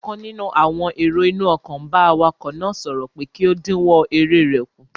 Ọ̀kan nínú àwọn èrò inú ọkọ̀ n bá awakọ̀ náà sọ̀rọ̀ pé kí ó dínwọ́ eré rẹ̀ kù